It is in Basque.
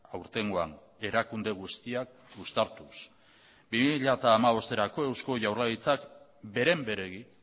aurtengoan erakunde guztiak uztartuz bi mila hamabosterako eusko jaurlaritzak beren beregi